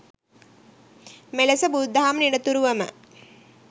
මෙලෙස බුදුදහම නිරතුරුවම